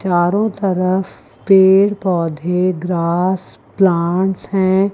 चारों तरफ पेड़ पौधे ग्रास प्लांट्स हैं।